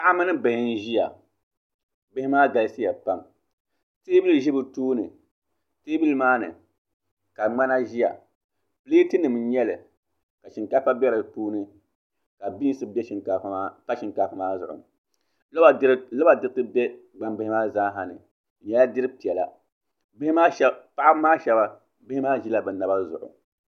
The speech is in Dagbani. paɣa mini bihi n-ʒiya bihi maa galisiya pam teebuli za bɛ tooni teebuli maa ni ka ŋmana zaya pileetinima n-nyɛ li ka shinkaafa be di puuni ka biinsi pa shinkaafa maa zuɣu loba diriti be gbambihi maa zaasa ni di nyɛla dir' piɛla paɣiba maa shɛba bihi maa ʒila bɛ naba zuɣu